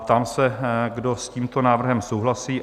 Ptám se, kdo s tímto návrhem souhlasí?